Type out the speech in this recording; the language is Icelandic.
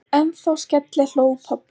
En þá skellihló pabbi.